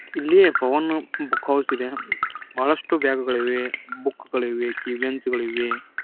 ಇಲ್ಲಿ Pavan book house ಇದೆ ಬಹಳಷ್ಟು ಬ್ಯಾಗ ಗಳಿವೆ ಬುಕ್ಕ ಗಳಿವೆ ಕೀಬೆಂಚ್ ಗಳಿವೆ.